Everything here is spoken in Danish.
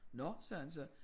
Nåh sagde han så